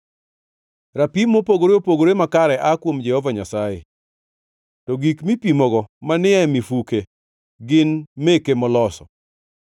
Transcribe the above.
Rapim mopogore opogore makare aa kuom Jehova Nyasaye, to gik mipimogo manie mifuke gin meke moloso.